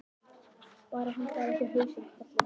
Bara hann fari ekki á hausinn, karlinn.